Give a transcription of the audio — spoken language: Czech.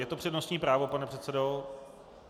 Je to přednostní právo, pane předsedo?